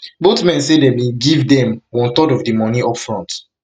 both men say dem bin give dem one third of di money up front